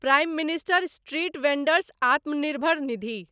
prime minister street vendors Atmanirbhar Nidhi